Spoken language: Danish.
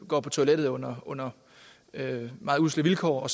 går på toilettet under under meget usle vilkår